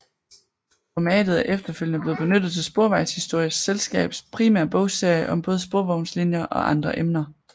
Formatet er efterfølgende blevet benyttet til Sporvejshistorisk Selskabs primære bogserie om både sporvognslinjer og andre emner